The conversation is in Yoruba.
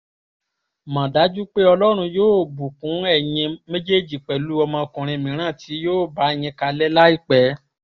mọ̀ dájú pé ọlọ́run yóò bùkún ẹ̀yin méjèèjì pẹ̀lú ọmọkùnrin mìíràn tí yóò bá yín kalẹ̀ láìpẹ́